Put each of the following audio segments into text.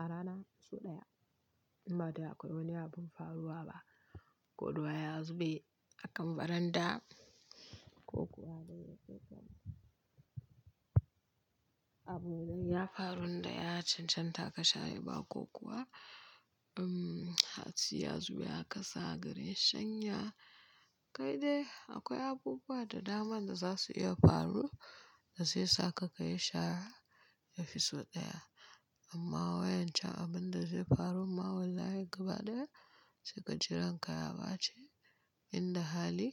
A rana sau ɗaya. Inba dai akwai wani abin faruwa ba, ko ruwa ya zube akan baranda. Ko kuwa abin da ya faru da ya cancanta ka share ba ko kuwa, hatsi ya zube a kasa garin shanya. Kai dai akwai abubuwa da dama da za su iya faruwa da zai sa ka kayi shara ya fi sau ɗaya. Amma wayan can abin da zai farun ma wallahi gaba ɗaya sai ka ji ranka ya baci Inda hali,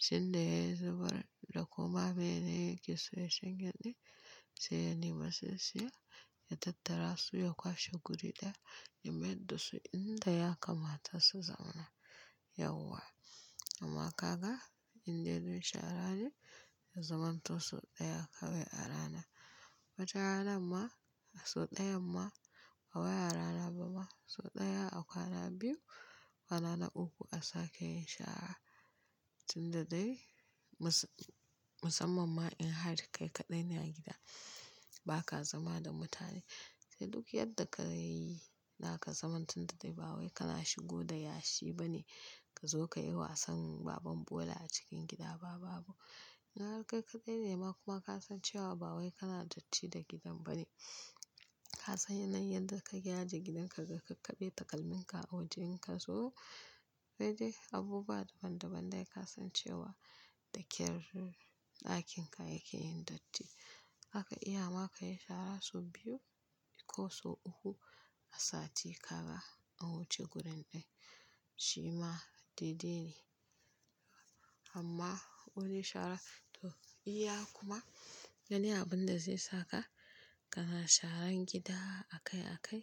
sai da ya yi zubar da kuma mene yake so ya shanye ɗin sai ya nema sai saya, ya tattara su ya kwashe guri ɗaya ya maida su inda ya kamata su zauna. Yauwa. Amma kaga indai dun shara ne ya zamanto sau ɗaya kawai a rana. Wata ranar ma, sau ɗayan ma, ba wai a rana ba ma sau ɗaya a kwana biyu ko kwana na uku a sake yin shara. Tun da dai musa-musamman ma in har kai kaɗai ne a gida, ba ka zama da mutane. Sai duk yadda ka yi, zaka zama tun da dai ba wai kana shigo da yashi bane. Ka zo ka yi wasan baban bola a cikin gida ba babu. Na har kai kaɗai ne ma kuma ka san cewa ba wai kana datti da gidan ba ne. Ka san yanayin yadda kake ajiye gidanka da kakaɓe takalmin ka a wajen ka. So sai dai abubuwa daban-daban dai ka san cewa daƙer ɗakin ka yake yin datti. Zaka iya ma ka yi shara sau biyu ko sau uku a sati kaga an wuce gurin ɗin. Shi ma daidai ne. Amma wani shara, to iya kuma yanayin abin da zai saka kana sharan gida akai akai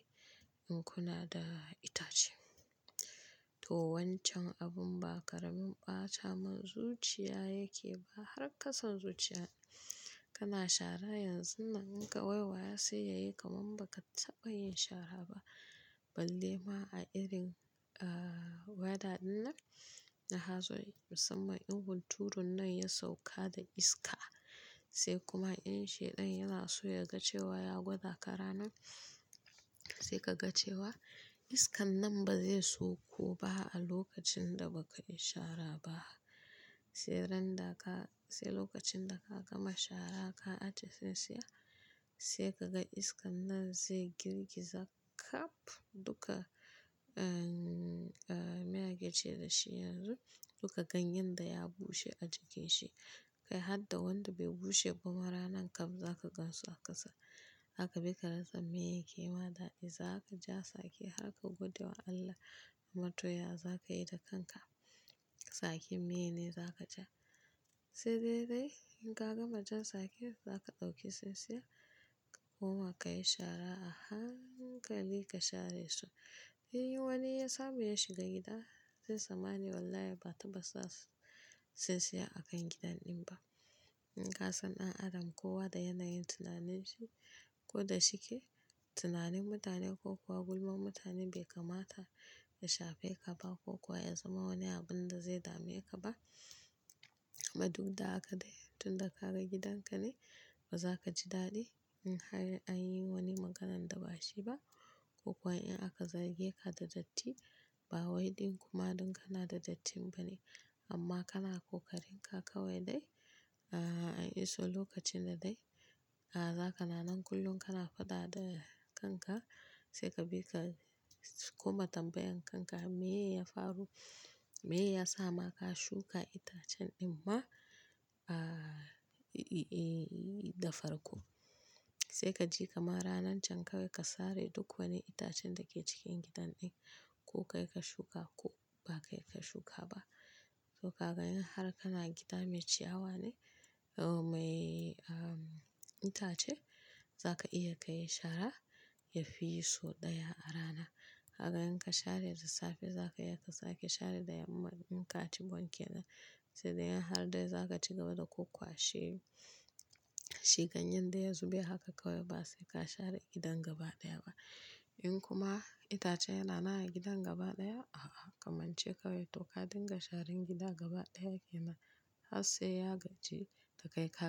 in kuna da itace. To wancan abin ba karamin ɓatamin zuciya yake ba. Har kasan zuciya kana shara yanzun nan in ka waiwaya sai yayi kaman ba ka taɓa yin shara ba. Balle ma a irin, weather dinnan na hazo. Musamman in hunturun nan ya sauka da iska. Sai kuma in shaiɗan yana so ya gace wa ya gwada ka ranan. Sai ka ga cewa iskan nan ba zai sauko ba a lokacin da ba ka yi shara ba. Sai ran da ka-- sai lokacin da ka gama shara ka ajiye tsintsiya sai ka ga iskan nan zai girgiza kaf duka, mene ake ce da shi yanzu? Duka ganyen da ya bushe a jikin shi. Kai har da wanda bai bushe ba ma ranan kam za ka gansu a ƙasa. Haka bika rasa meyake ma daɗi. Za ka ja tsaki harka gode wa Allah amma to ya za ka yi da kanka. Tsakin maye ne za ka ja. Sai dai dai in ka gama jan sake, za ka ɗauki saisaya kuma ka yi shara a hankali ka share su. In wani ya samu ya shiga gida zai tsammani wallahi ba taɓa sa tsintsiya a kan gidan ɗin ba. In ka san ɗan adam kowa da yanayin tunanin shi ko da shike. Tunanin mutane ko kuwa gulman mutane bai kamata ya shafe ka ba ko kuwa ya zama wani abin da zai dame ka ba. Amma duk da haka dai tun da ka ga gidan ka ne ba za ka ji daɗi in har an yi wani maganan da ba shi ba ko kuwa in aka zage ka da datti. Ba wai ɗin kuma don kana da dattin ba ne amma kana ƙoƙarin ka kawai dai a iso lokacin da dai. Da za kana nan kullum kana faɗa da kanka sai ka bi ka koma tambayan kanka meye ya faru. Meyasa ma ka shuka itacen ɗin ma, da farko. Sai ka ji kamar ranan can kawai ka sare duk wani itacen da ke cikin gidan ɗin ko kai ka shuka ko ba kai ka shuka ba. To ka ga in har kana gida mai ciyawa ne, mai itace za ka iya kayi shara ya fi yi sau ɗaya a rana. Haka in ka share da safe za ka iya ka sake share da yamma in ka ci wan kenan. Sai dai har dai za ka ci gaba da kwakwashe shi ganyen daya zube haka kawai ba sai ka share gidan gaba ɗaya ba. In kuma itace yana nan a gidan gabaɗaya, a kamance kawai to ka dinga sharan gida gabaɗaya ke nan har sai ya gaji da kai kaɗai.